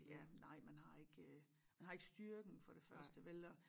Ja nej man har ikke man har ikke styrken for det første vel og